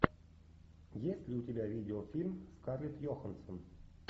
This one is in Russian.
есть ли у тебя видеофильм скарлетт йоханссон